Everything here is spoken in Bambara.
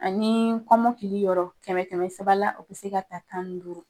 Ani kɔmɔkili yɔrɔ kɛmɛ kɛmɛ sara la, o bi se ka ta tan ni duuru.